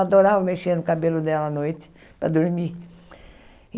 Eu adorava mexer no cabelo dela à noite, para dormir.